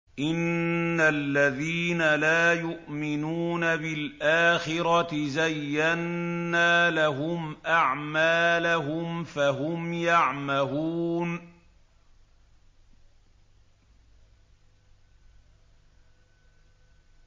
إِنَّ الَّذِينَ لَا يُؤْمِنُونَ بِالْآخِرَةِ زَيَّنَّا لَهُمْ أَعْمَالَهُمْ فَهُمْ يَعْمَهُونَ